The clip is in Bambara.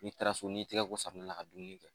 N'i taara so n'i tɛgɛ ko safunɛ la ka dumuni kɛ